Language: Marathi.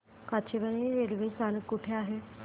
काचेवानी रेल्वे स्थानक कुठे आहे